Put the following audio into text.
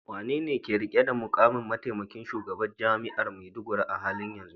Wanene yake rike da mukamin mataimakin shugaban jami'ar Maiduguri a halin yanzu?